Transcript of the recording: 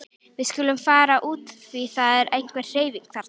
Við skulum fara út því það er einhver hreyfing þarna.